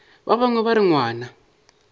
ba bangwe ba re ngwana